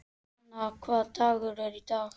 Dúna, hvaða dagur er í dag?